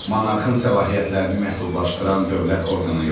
Monarxın səlahiyyətlərini məhdudlaşdıran dövlət orqanı yoxdur.